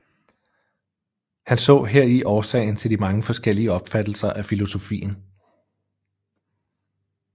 Han så heri årsagen til de mange forskellige opfattelser af filosofien